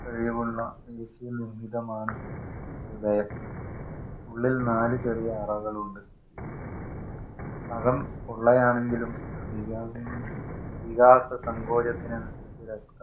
കഴിവുള്ള ആണ് ഹൃദയം. ഉള്ളില്‍ നാലു ചെറിയ അറകളുണ്ട്. അകം പൊള്ളയാണെങ്കിലും വികാസസങ്കോചത്തിന്